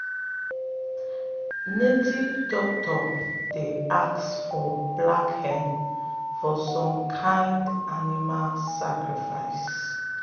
native doctors dey ask for black hen for some kind animal sacrifice.